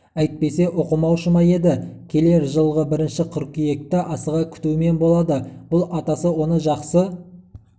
әйтпесе оқымаушы ма еді оқиды келер жылғы бірінші қыркүйекті асыға күтумен болады бұл атасы оны жақсы